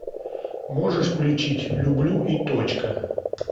можешь включить люблю и точка